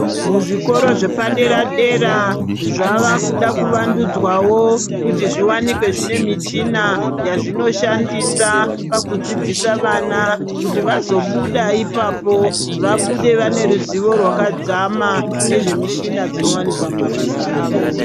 Muzvikoro zvepadera dera zvava kuda kuvandudzwawo kuti zviwanikwe zvine michina yazvinoshandisa pakudzidzisa vana, kuti vazobuda ipapo, vabude vane ruzivo rwakadzama nezvemishina dzinowanikwa mumabasa avo.